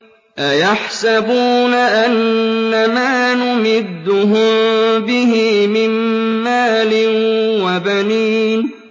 أَيَحْسَبُونَ أَنَّمَا نُمِدُّهُم بِهِ مِن مَّالٍ وَبَنِينَ